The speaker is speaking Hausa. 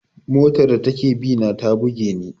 Motar da take bina ta buge ni.